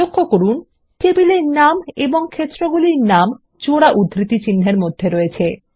লক্ষ্য করুন টেবিলের নাম এবং ক্ষেত্রগুলির নাম জোড়া উদ্ধৃতিচিহ্নের মধ্যে থাকে